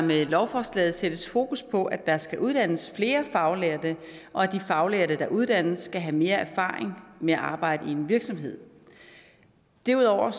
med lovforslaget sættes fokus på at der skal uddannes flere faglærte og at de faglærte der uddannes skal have mere erfaring med at arbejde i en virksomhed derudover